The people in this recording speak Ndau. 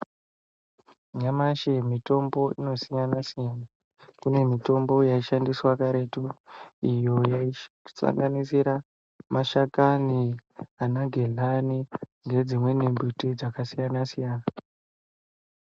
Nyamashi mitombo inosiyana-siyana, kune mitombo yaishandiswa karetu, iyo yasanganisira mashakani anagedhlani nedzimweni miti dzakasiyana-siyana,